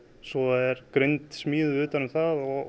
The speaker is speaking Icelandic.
svo er grind smíðuð utan um það og